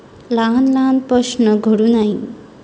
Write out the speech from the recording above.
लहान लहान प्रश्न घडू नाही.